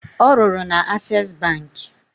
Ọ rụrụ na Ases bankị